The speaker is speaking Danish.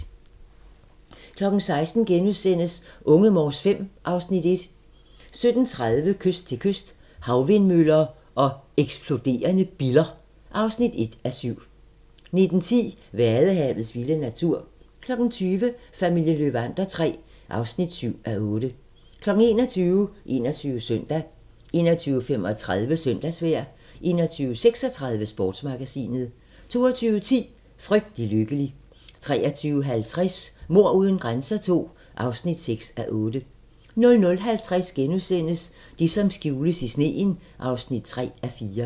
16:00: Unge Morse V (Afs. 1)* 17:30: Kyst til kyst - Havvindmøller og eksploderende biller (1:7) 19:10: Vadehavets vilde natur 20:00: Familien Löwander III (7:8) 21:00: 21 Søndag 21:35: Søndagsvejr 21:36: Sportsmagasinet 22:10: Frygtelig lykkelig 23:50: Mord uden grænser II (6:8) 00:50: Det som skjules i sneen (3:4)*